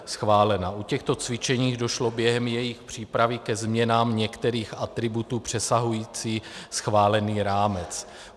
U těchto cvičení došlo během jejich přípravy ke změnám některých atributů přesahujících schválený rámec.